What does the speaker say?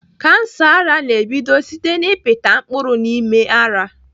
Kansa ara na-ebido site n'ịpịta mkpụrụ n'ime ara.